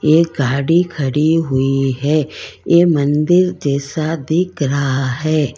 ये गाड़ी खड़ी हुई है ये मंदिर जैसा दिख रहा है।